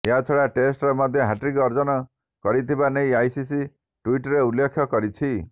ଏହାଛଡ଼ା ଟେଷ୍ଟରେ ମଧ୍ୟ ହ୍ୟାଟ୍ରିକ୍ ଅର୍ଜନ କରିଥିବା ନେଇ ଆଇସିସି ଟ୍ବିଟ୍ରେ ଉଲ୍ଲେଖ କରିଛି